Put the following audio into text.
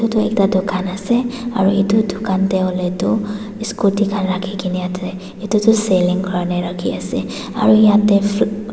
etu ekta dukan ase aru etu dukan te hoile tu scooty khan rakhi kena ase etu tu saling kowne rakhi ase aru yate fru.